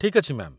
ଠିକ୍ ଅଛି, ମ୍ୟା'ମ୍